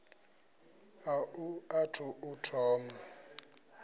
a u athu u thoma